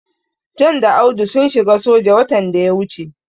John da Audu sun shiga soja watan da ya wuce.